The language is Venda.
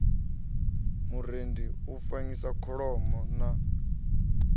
murendi u fanyisa kholomo na